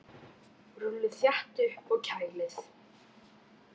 Rúllið þétt upp og kælið.